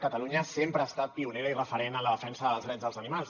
catalunya sempre ha estat pionera i referent en la defensa dels drets dels animals